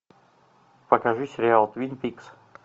покажи сериал твин пикс